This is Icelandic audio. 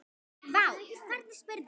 Vá, hvernig spyrðu?